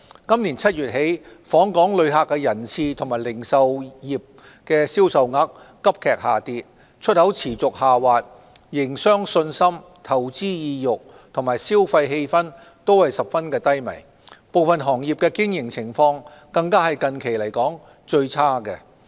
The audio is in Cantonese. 今年7月起，訪港旅客人次和零售業銷售額急劇下跌、出口持續下滑，營商信心、投資意欲和消費氣氛均十分低迷，部分行業的經營情況更是近期來說最差的。